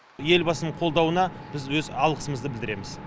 елбасының қолдауына біз өз алғысымызды білдіреміз